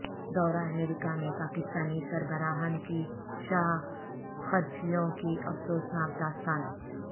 دورہ امریکہ میں پاکستانی سربراہان کی شاہ خرچیوں کی افسوسناک داستان